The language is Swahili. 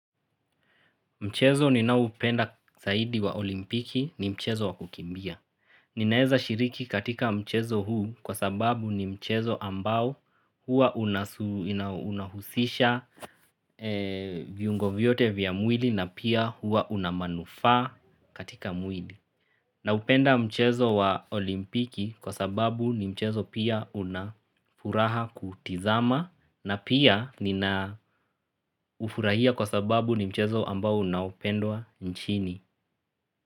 Mchezo ninao hupenda zaidi wa olimpiki ni mchezo wa kukimbia. Ninaeza shiriki katika mchezo huu kwa sababu ni mchezo ambao huwa unahusisha viungo vyote vya mwili na pia huwa una manufaa katika mwili. Naupenda mchezo wa olimpiki kwa sababu ni mchezo pia unafuraha kutazama na pia ninaufurahia kwa sababu ni mchezo ambao unaopendwa nchini.